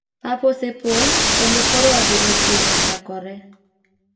Pap osepong kendo koro adhula chiegni chakore .